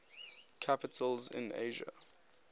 capitals in asia